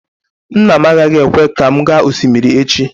Nna m agaghị ekwe ka m gaa osimiri echi